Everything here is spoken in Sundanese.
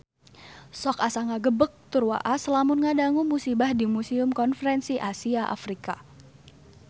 Sok asa ngagebeg tur waas lamun ngadangu musibah di Museum Konferensi Asia Afrika